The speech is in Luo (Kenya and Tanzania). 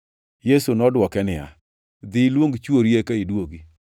Yesu nodwoke niya, “Dhi iluong chwori eka iduogi.”